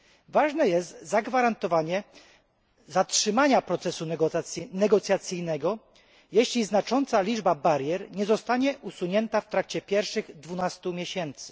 Ważne jest zagwarantowanie zatrzymania procesu negocjacyjnego, jeśli znacząca liczba barier nie zostanie usunięta w trakcie pierwszych dwunastu miesięcy.